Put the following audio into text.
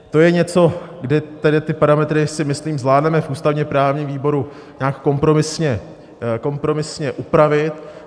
To je něco, kdy tedy ty parametry si myslím zvládneme v ústavně-právním výboru nějak kompromisně upravit.